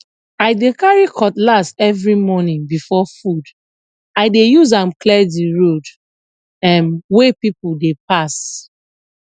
i dey carry cutlass every morning before food i dey use am clear the road um wey people dey pass